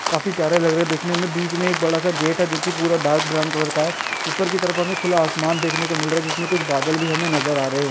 काफी प्यारा लग रहा है दिखने मे बीच मे एक बड़ासा गेट है जो की डार्क ब्राउन कलर का है ऊपर की तरफ हमे खुला आसमान दिख रहा है जिसमे कुछ बादल भी हमे नज़र आ रहे है।